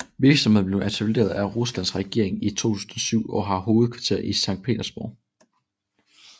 Virksomheden blev etableret af Ruslands regering i 2007 og har hovedkvarter i Sankt Petersborg